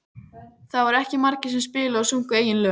Það voru ekki margir sem spiluðu og sungu eigin lög.